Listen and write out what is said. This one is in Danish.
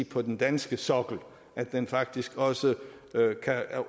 på den danske sokkel men faktisk også kan